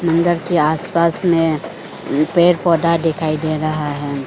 मंदर के आसपास में पेड़ पौधा दिखाई दे रहा है।